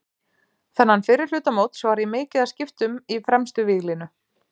Þennan fyrri hluta móts var ég mikið að skipta um í fremstu víglínu.